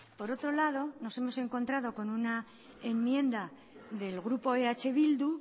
por otro lado nos hemos encontrado con una enmienda del grupo eh bildu